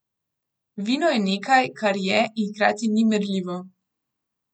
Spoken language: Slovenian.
Vino je nekaj, kar je in hkrati ni merljivo.